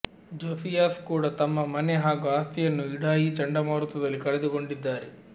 Josias ಕೂಡಾ ತಮ್ಮ ಮನೆ ಹಾಗೂ ಆಸ್ತಿಯನ್ನು ಇಡಾಯಿ ಚಂಡಮಾರುತದಲ್ಲಿ ಕಳೆದುಕೊಂಡಿದ್ದಾರೆ